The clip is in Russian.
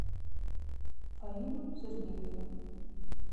фаину сергеевну